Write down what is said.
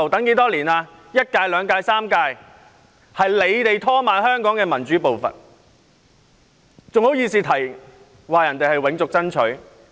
是反對派在拖慢香港的民主步伐，他們還好意思取笑人家永續爭取。